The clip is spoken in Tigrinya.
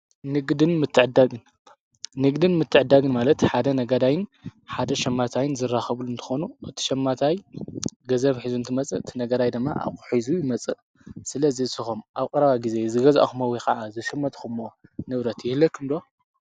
ንግድን ምትዕዳግን ማለት ሓደ ነገዳይን ሓደ ሸማታይን ዝራኸቡሉ እንተኾኑ እቲ ሸማታይ ገዘብ ኂዙ እንቲ መጽእ ቲነገዳይ ደማ ኣቝሒዙ መጽእ ስለ ዘስኸም ኣብ ቕራባ ጊዜ ዝገዛኣኹምዊ ኸዓ ዝሽመትኹእሞ ንብረት ይህለኩምዶ?